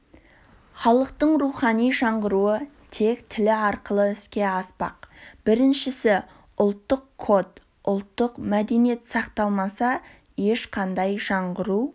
халықтың рухани жаңғыруы тек тілі арқылы іске аспақ біріншісі ұлттық код ұлттық мәдениет сақталмаса ешқандай жаңғыру